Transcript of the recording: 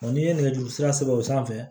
n'i ye nɛgɛjurusira sɛbɛ o sanfɛ